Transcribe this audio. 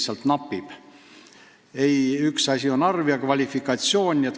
Üks asi on inimeste arv, teine nende kvalifikatsioon.